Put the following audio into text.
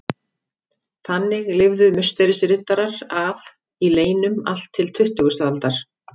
Þannig lifðu Musterisriddarar af í leynum allt til tuttugustu aldar.